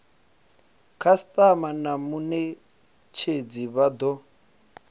khasitama na munetshedzi vha do